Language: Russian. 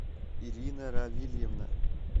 ирина равильевна